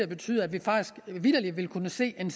betyde at vi vitterlig vil kunne se en